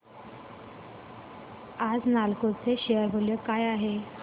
आज नालको चे शेअर मूल्य काय आहे